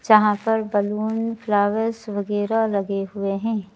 यहां पर balloon flowers वगैरा लगे हुए हैं।